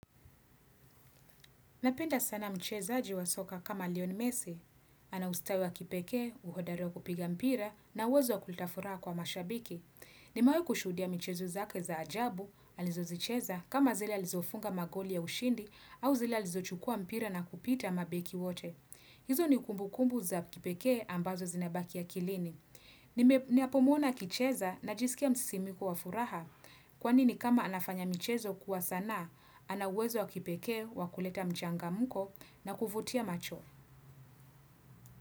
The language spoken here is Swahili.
Napenda sana mcheza aji wa soka kama lioni messi, ana ustawi wa kipeke, uhodareo kupiga mpira na uwezo wa kuleta furaha kwa mashabiki. Nimewai kushudia michezo zake za ajabu, alizozicheza kama zile alizofunga magoli ya ushindi au zile alizochukua mpira na kupita mabeki wote. Hizo ni kumbukumbu za kipeke ambazo zinabaki akilini. Ninapo muona akicheza na jiskia msisimuko wa furaha kwanini kama anafanya michezo kuwa sana, anauwezo wakipekee wa kuleta mchangamko na kuvutia macho.